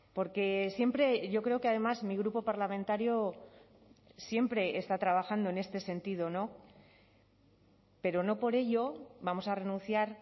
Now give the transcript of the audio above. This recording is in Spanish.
porque siempre yo creo que además mi grupo parlamentario siempre está trabajando en este sentido no pero no por ello vamos a renunciar